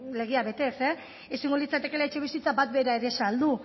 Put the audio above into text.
legea betez ezingo litzatekeela etxebizitza bat bera ere saldu